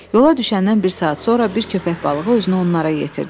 Yola düşəndən bir saat sonra bir köpək balığı özünü onlara yetirdi.